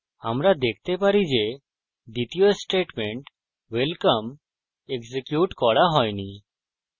আমরা দেখতে পারি যে দ্বিতীয় statement welcome এক্সিকিউট করা হইনি